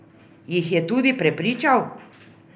Jih je tudi prepričal?